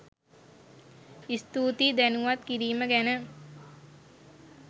ස්තූතියි දැනුවත් කිරීම ගැන